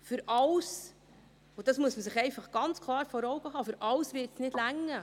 Für alles – und dies muss man sich einfach ganz klar vor Augen halten –, für alles wird es nicht reichen.